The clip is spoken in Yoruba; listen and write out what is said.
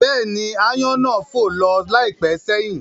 Bẹ́ẹ̀ni, aáyán náà fò lọ láìpẹ́ sẹ́yìn